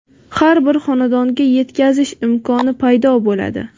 har bir xonadonga yetkazish imkoni paydo bo‘ladi.